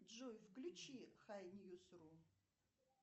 джой включи хай ньюс ру